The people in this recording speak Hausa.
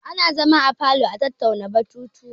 Ana zama a falo a tattauna batutuwa.